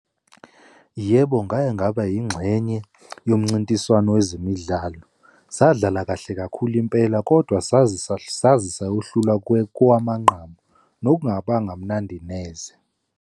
Yebo, ngake ngaba yingxenye yomncintiswano wezemidlalo. Sadlala kahle kakhulu impela kodwa saze, saze sayohlulwa kowamanqamu, nokungabanga mnandi neze.